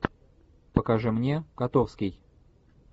покажи мне котовский